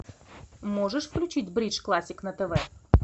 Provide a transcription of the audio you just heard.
можешь включить бридж классик на тв